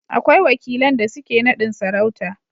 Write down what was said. akwai wakilan da suke nadin sarauta